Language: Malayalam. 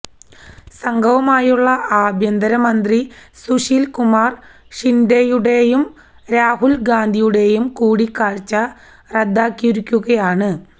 സംഘവുമായുള്ള ആഭ്യന്തര മന്ത്രി സുശീല് കുമാര് ഷിന്ഡെയുടെയും രാഹുല് ഗാന്ധിയുടെയും കൂടക്കാഴ്ച റദ്ദാക്കിയിരിക്കയുമാണ്